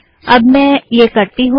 अब मैं यह करती हूँ